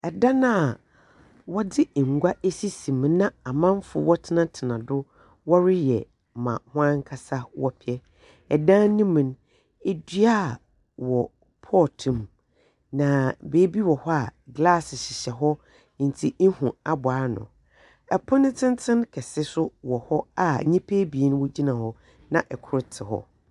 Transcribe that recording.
Ɛdan a wɔdze ngua esisi mu, na amanfo wɔtsenatsena do wɔreyɛ ma wɔn ankasa wɔpɛ. Ɛdan nemu no edua wɔ pɔt mu, na baabi wɔhɔ a glass hyehyɛ hɔ enti ehu aabow ano. Ɛpon tsentsen kɛse so wɔhɔ a nyipa ebien wogyina hɔ, na ɔkor tse hɔ.